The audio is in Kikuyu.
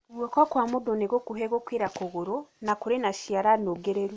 Guoko kwa mũndũ nĩ gũkuhi gũkĩra kũgũrũ, na kũrĩ na ciara nũngĩrĩru.